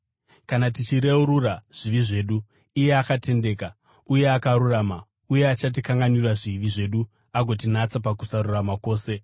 Kana tichireurura zvivi zvedu, iye akatendeka uye akarurama, uye achatikanganwira zvivi zvedu agotinatsa pakusarurama kwose.